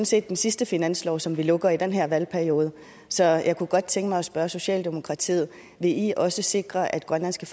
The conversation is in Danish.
set den sidste finanslov som vi lukker i den her valgperiode så jeg kunne godt tænke mig at spørge socialdemokratiet vil i også sikre at grønlandske